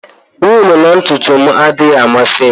Wụlụ na ntutu m adịghị amasị m.